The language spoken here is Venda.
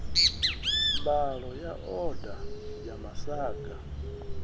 mbalo ya oda ya masaga